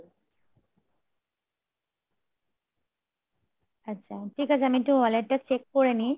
আচ্ছা ঠিক আছে আমি একটু wallet টা check করে নেই